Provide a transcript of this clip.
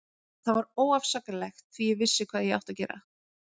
Það var óafsakanlegt því ég vissi hvað ég átti að gera.